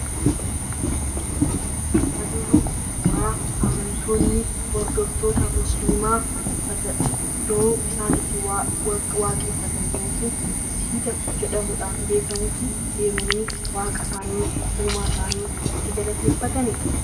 Suurri argaa jirru suuraa amantoonni musiliimaa iddoo isaan itti waaqeffatan yookiin Masjiida jedhamuudhaan beekamutti waaqa isaanii, uumaa isaanii itti galateeffatanidha.